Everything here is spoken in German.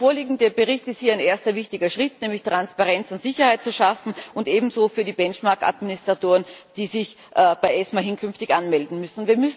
Der vorliegende Bericht ist hier ein erster wichtiger Schritt, nämlich um Transparenz und Sicherheit zu schaffen, und ebenso für die Benchmark Administratoren, die sich bei ESMA hinkünftig anmelden müssen.